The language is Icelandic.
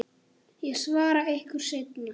Ég svara ykkur seinna.